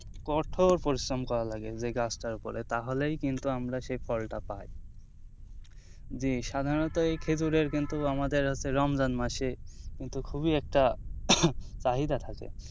কঠোর পরিশ্রম করা লাগে এই গাছটার ওপরে তাহলেই কিন্তু আমরা সেই ফলটা পাই জি সাধারনত এই খেঁজুরের কিন্তু আমাদের হচ্ছে রমজান মাসে কিন্তু খুবই একটা চাহিদা থাকে,